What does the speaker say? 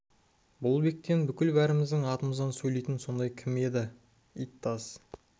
ей бұл бектен бүкіл бәріміздің атымыздан сөйлейтін сондай кім еді ит таз